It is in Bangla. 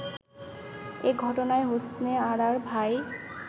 এ ঘটনায় হোসনে আরার ভাই